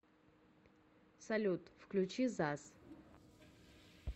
салют включи заз